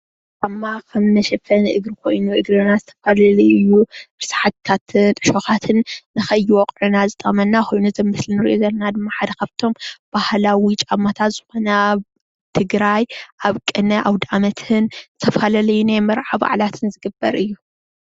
ጫማ ከም መሸፈኒ እግሪ ኮይኑ ንእግርና ዝተፈላለዩ ርስሓታትን ዕሾካትን ንከይወቅዑና ዝጠቅመና ኮኑ እቲ ኣብ ምስሊ እንሪኦ ዘለና ድማ ሓደ ካብ እቶም ባህላዊ ጫማታት ዝኮነ ኣብ ትግራይ ኣብ ቅነ ኣውዳኣመትን ዝተፈላለዩ ናይ ማርዓታትን በዓላትን ዝግበር እዩ፡፡